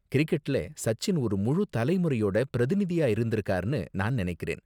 கிரிக்கெட்ல சச்சின் ஒரு முழு தலைமுறையோட பிரதிநிதியா இருந்திருக்கார்னு நான் நினைக்கிறேன்.